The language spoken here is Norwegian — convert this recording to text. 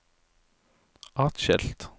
atskilt